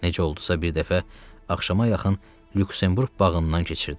Necə oldusa bir dəfə axşama yaxın Lüksemburq bağından keçirdi.